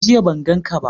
Jiya ban gan ka ba